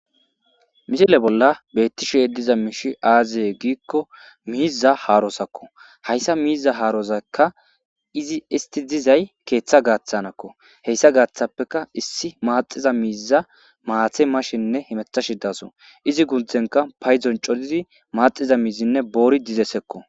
Mishile bolla beettishe diza miishi aaziye giikko miiza haarosakko hayssa miiza haarozakka izi isti dizay keeththa gaaththanakko heyssa gaaththappeka issi maaxiza miiza maathe mashenne himetha shidaso izi gunthenka payzon codizi maaxiza miizinne boori dizessekko.